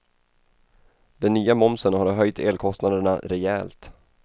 Den nya momsen har höjt elkostnaderna rejält.